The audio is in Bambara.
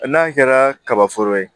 N'a kɛra kaba foro ye